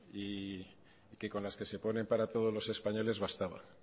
y que con las que se ponen para todos los españoles bastaba